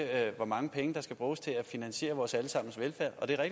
hvor mange penge der skal bruges til at finansiere vores alle sammens velfærd og det er